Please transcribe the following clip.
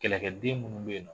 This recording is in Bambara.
Kɛlɛkɛden minnu bɛ yen nɔ